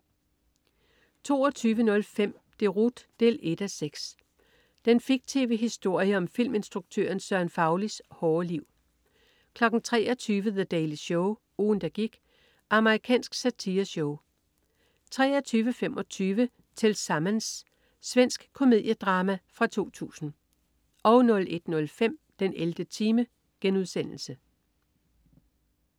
22.05 Deroute 1:6. Den fiktive historie om filminstruktøren Søren Faulis hårde liv 23.00 The Daily Show. Ugen der gik. Amerikansk satireshow 23.25 Tillsammans. Svensk komediedrama fra 2000 01.05 den 11. time*